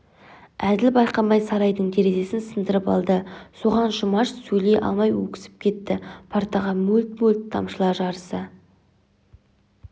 әділ байқамай сарайдың терезесін сындырып алды соған жұмаш сөйлей алмай өксіп кетті партаға мөлт-мөлт тамшылар жарыса